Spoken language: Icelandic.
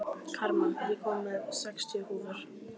Karma, ég kom með sextíu húfur!